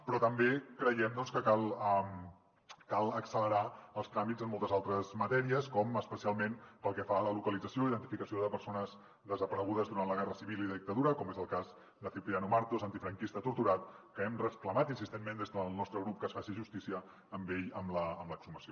però també creiem que cal accelerar els tràmits en moltes altres matèries com especialment pel que fa a la localització i identificació de persones desaparegudes durant la guerra civil i la dictadura com és el cas de cipriano martos antifranquista torturat que hem reclamat insistentment des del nostre grup que es faci justícia amb ell amb l’exhumació